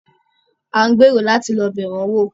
A ń gbèrò láti lọ́ bẹ̀ wọn wò.